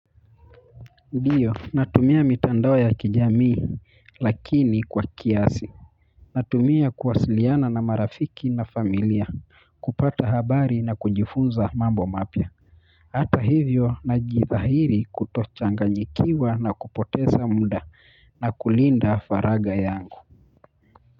Ndiyo, natumia mitandao ya kijamii lakini kwa kiasi. Natumia kuwasiliana na marafiki na familia, kupata habari na kunjifunza mambo mapya. Hata hivyo najidhairi kutochanganyikiwa na kupoteza munda na kulinda faragha yangu.